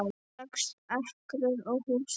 Sex ekrur og hús